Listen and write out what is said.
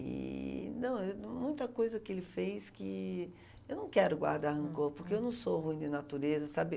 E, não eu não, muita coisa que ele fez que eu não quero guardar rancor, porque eu não sou ruim de natureza, sabe?